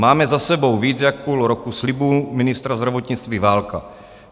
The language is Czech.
Máme za sebou víc jak půl roku slibů ministra zdravotnictví Válka.